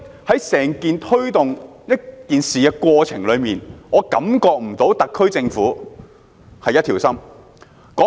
所以，在推動這件事的整個過程中，我感覺不到特區政府一條心。